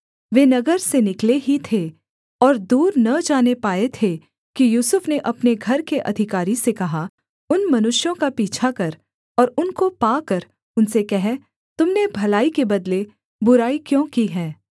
वे नगर से निकले ही थे और दूर न जाने पाए थे कि यूसुफ ने अपने घर के अधिकारी से कहा उन मनुष्यों का पीछा कर और उनको पाकर उनसे कह तुम ने भलाई के बदले बुराई क्यों की है